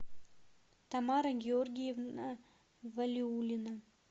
тамара георгиевна валиулина